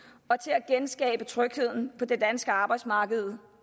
og til at genskabe trygheden på det danske arbejdsmarked